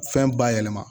Fɛn bayɛlɛma